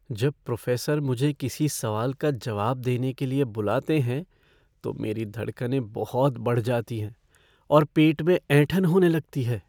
जब प्रोफ़ेसर मुझे किसी सवाल का जवाब देने के लिए बुलाते हैं तो मेरी धड़कनें बहुत बढ़ जाती हैं और पेट में ऐंठन होने लगती है।